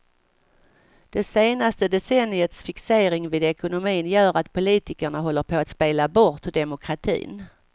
Det senaste decenniets fixering vid ekonomin gör att politikerna håller på att spela bort demokratin.